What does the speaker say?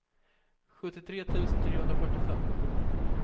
sjuttiotre tusen trehundrafyrtiofem